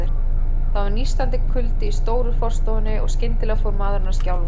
Það var nístandi kuldi í stóru forstofunni, og skyndilega fór maðurinn að skjálfa.